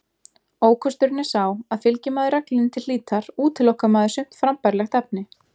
Ókosturinn er sá að fylgi maður reglunni til hlítar útilokar maður sumt frambærilegt efni.